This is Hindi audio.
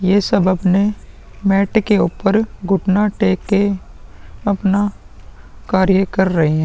ये सब अपने मेट के ऊपर घुटना टेक के अपना कार्य कर रहे हैं।